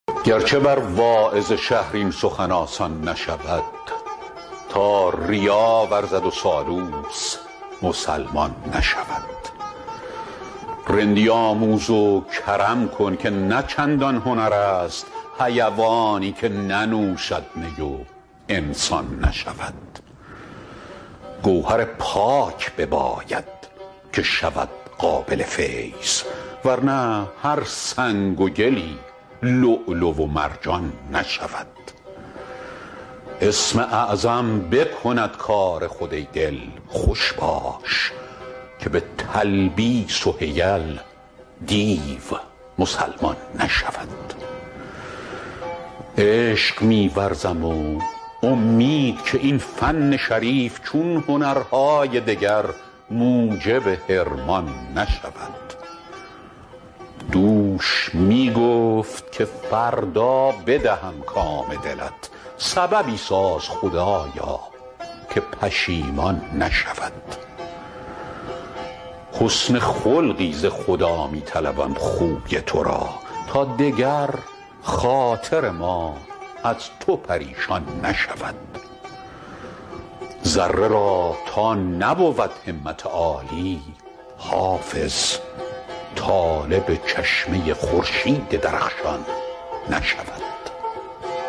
گر چه بر واعظ شهر این سخن آسان نشود تا ریا ورزد و سالوس مسلمان نشود رندی آموز و کرم کن که نه چندان هنر است حیوانی که ننوشد می و انسان نشود گوهر پاک بباید که شود قابل فیض ور نه هر سنگ و گلی لؤلؤ و مرجان نشود اسم اعظم بکند کار خود ای دل خوش باش که به تلبیس و حیل دیو مسلمان نشود عشق می ورزم و امید که این فن شریف چون هنرهای دگر موجب حرمان نشود دوش می گفت که فردا بدهم کام دلت سببی ساز خدایا که پشیمان نشود حسن خلقی ز خدا می طلبم خوی تو را تا دگر خاطر ما از تو پریشان نشود ذره را تا نبود همت عالی حافظ طالب چشمه خورشید درخشان نشود